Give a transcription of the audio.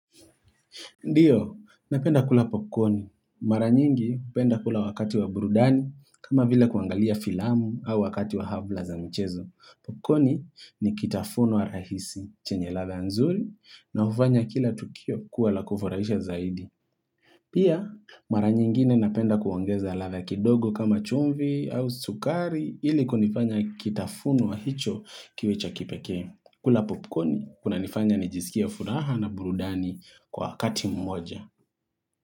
Ndio, napenda kula popcorn. Mara nyingi, hupenda kula wakati wa burudani, kama vile kuangalia filamu au wakati wa habla za mchezo. Popcorni ni kitafunwa rahisi, chenye ladha nzuri, na hufanya kila tukio kuwa la kufurahisha zaidi. Pia, mara nyingine napenda kuongeza ladha kidogo kama chumvi au sukari ili kunifanya kitafunwa hicho kiwe cha kipekee. Kula popcorn, kuna nifanya nijisikie furaha na burudani kwa wakati mmoja.